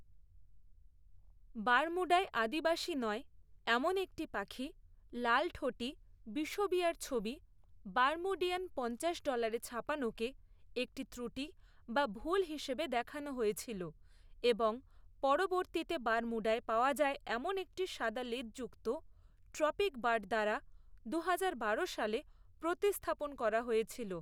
বার্মুডায় আদিবাসী নয় এমন একটি পাখি লালঠোঁটি বিষুবীয়ার ছবি বারমুডিয়ান পঞ্চাশ ডলারে ছাপানোকে একটি ত্রুটি বা ভুল হিসেবে দেখানো হয়েছিল এবং পরবর্তীতে বারমুডায় পাওয়া যায় এমন একটি সাদা লেজযুক্ত ট্রপিকবার্ড দ্বারা দুহাজার বারো সালে প্রতিস্থাপন করা হয়েছিল।